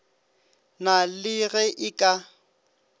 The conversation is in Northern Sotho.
na le ge e ka